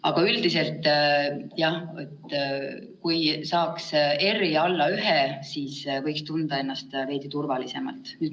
Aga üldiselt jah, kui saaks R-i alla 1, võiks tunda ennast veidi turvalisemalt.